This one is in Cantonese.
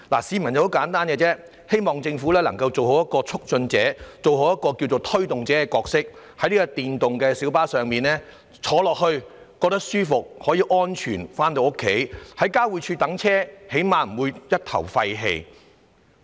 市民的要求很簡單，希望政府能夠做好促進者、推動者的角色，在電動小巴方面，乘客可以舒服而安全地回家，在交匯處候車時至少不會一頭廢氣。